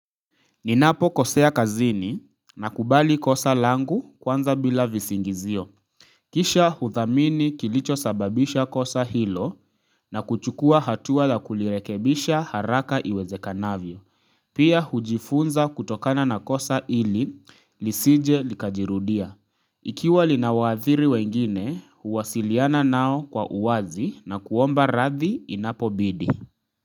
Ninapokosea kazini nakubali kosa langu kwanza bila visingizio. Kisha huthamini kilichosababisha kosa hilo na kuchukua hatua la kulirekebisha haraka iwezekanavyo. Pia hujifunza kutokana na kosa ili lisije likajirudia. Ikiwa linawaathiri wengine huwasiliana nao kwa uwazi na kuomba radhi inapobidi.